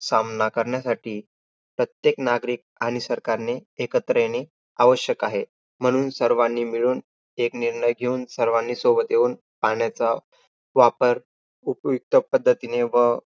सामना करण्यासाठी, प्रत्येक नागरिक आणि सरकारने एकत्र येणे आवश्यक आहे. म्हणून सर्वांनी मिळून एक निर्णय घेऊन, सर्वांनी सोबत येऊन, पाण्याचा वापर उपयुक्त पद्धतीने व